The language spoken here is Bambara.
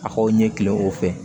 A k'aw ɲɛ kilen o fɛ